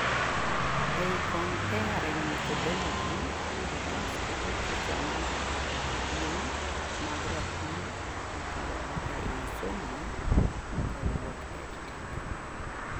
ei comparing methodology, otas kelo picha may kideing' mag rapim itiyogo ei somo kawuok Edtech